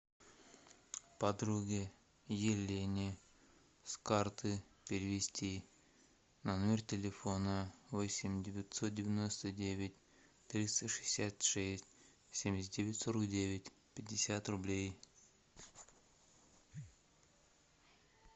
подруге елене с карты перевести на номер телефона восемь девятьсот девяносто девять триста шестьдесят шесть семьдесят девять сорок девять пятьдесят рублей